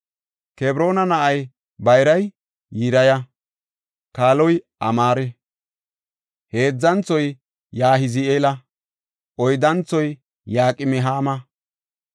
Kebroona na7ay bayray Yiriya; kaaloy Amaare; heedzanthoy Yahazi7eela; oyddanthoy Yaqim7aama.